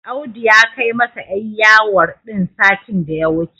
Audu ya kai masa 'yar yawon din satin da ya wuce.